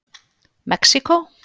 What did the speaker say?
Mexíkó